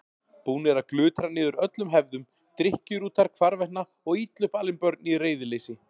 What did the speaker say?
Búnir að glutra niður öllum hefðum, drykkjurútar hvarvetna og illa upp alin börn í reiðileysi.